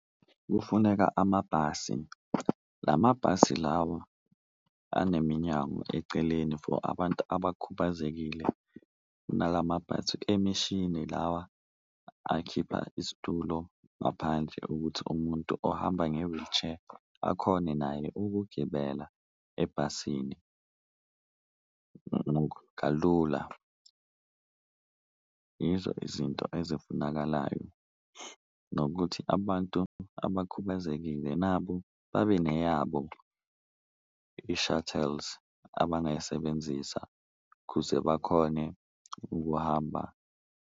Kufuneka amabhasi la mabhasi lawa aneminyango eceleni for abantu abakhubazekile, nala mabhasi emishini lawa akhipha isitulo ngaphandle ukuthi umuntu ohamba nge-wheelchair akhone naye ukugibela ebhasini kalula. Yizo izinto ezifunakalayo nokuthi abantu abakhubazekile nabo babe neyabo i-shuttles abangayisebenzisa kuze bakhone ukuhamba.